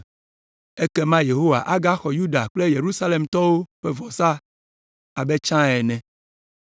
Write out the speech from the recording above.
Ekema Yehowa agaxɔ Yuda kple Yerusalemtɔwo ƒe vɔsa abe tsã ene.